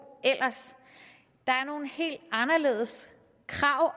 der er nogle helt anderledes krav